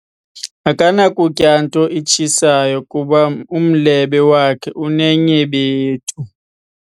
Akanakutya nto itshisayo kuba umlebe wakhe unenyebethu.